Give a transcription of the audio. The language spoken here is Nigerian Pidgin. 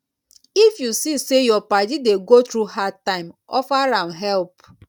if yu see say yur padi dey go thru hard time offer am help